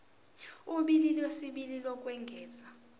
ulimi lwesibili lokwengeza